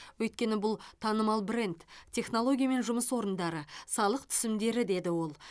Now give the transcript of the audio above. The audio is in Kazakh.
өйткені бұл танымал бренд технология мен жұмыс орындары салық түсімдері деді ол